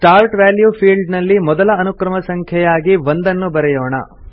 start value field ನಲ್ಲಿ ಮೊದಲ ಅನುಕ್ರಮ ಸಂಖ್ಯೆಯಾಗಿ 1 ನ್ನು ಬರೆಯೋಣ